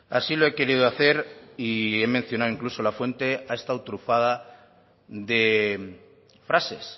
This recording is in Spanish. así lo he querido hacer y he mencionado incluso la fuente ha estado trufada de frases